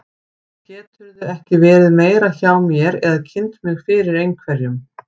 Geturðu ekki verið meira hjá mér eða kynnt mig fyrir einhverjum.